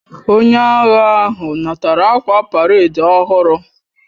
Onye agha ahu natara akwa paredi ohuru